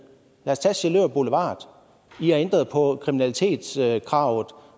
os tage sjælør boulevard i har ændret på kriminalitetskravet